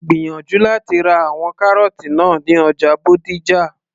gbìyànjú láti ra àwọn kárọ́ọ́tì náà ní ọjà Bódìjà